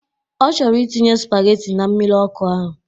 Ọ chọrọ itinye spageti na mmiri ọkụ ahụ